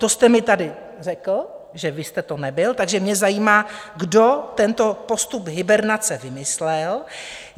To jste mi tady řekl, že vy jste to nebyl, takže mě zajímá, kdo tento postup hibernace vymyslel?